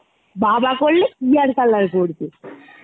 বাবা করলে কি আর color করবে !